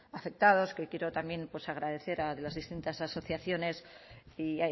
afectados que quiero también pues agradecer a las distintas asociaciones y